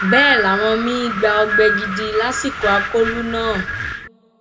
bẹẹ làwọn míín gba ọgbẹ gidi lásìkò akólú náà